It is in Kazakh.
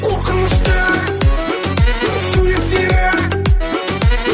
қорқынышты суреттері